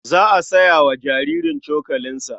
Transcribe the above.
Za a saya wa jaririn cokalinsa.